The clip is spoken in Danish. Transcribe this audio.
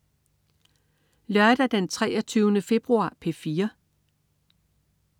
Lørdag den 23. februar - P4: